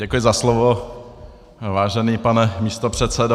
Děkuji za slovo, vážený pane místopředsedo.